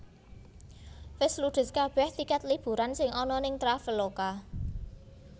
Wes ludes kabeh tiket liburan sing ana ning Traveloka